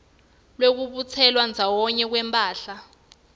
lwekubutselwa ndzawonye kwemphahla